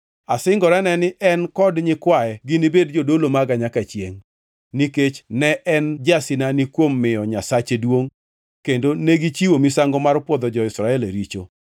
Asingorane ni en kod nyikwaye ginibed jodolo maga nyaka chiengʼ, nikech ne en jasinani kuom miyo Nyasache duongʼ kendo negichiwo misango mar pwodho jo-Israel e richo.”